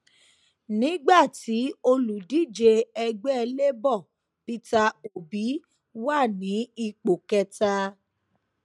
nígbà tí olùdíje ẹgbẹ labour peter obi wà ní ipò kẹta